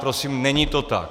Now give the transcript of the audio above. Prosím, není to tak.